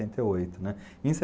e oito, né, em